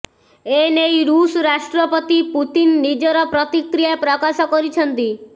ଏନେଇ ଋଷ ରାଷ୍ଟ୍ରପତି ପୁତିନ ନିଜର ପ୍ରତିକ୍ରିୟା ପ୍ରକାଶ କରିଛନ୍ତି